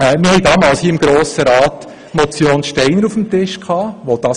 Mein Fazit: Wir hatten seinerzeit eine Motion von Herrn Steiner auf dem Tisch.